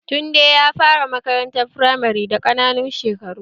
Tunde ya fara makaranta firamare da ƙananan shekaru